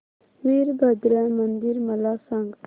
वीरभद्रा मंदिर मला सांग